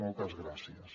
moltes gràcies